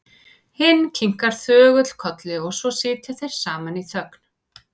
Hinn kinkar þögull kolli og svo sitja þeir saman í þögn.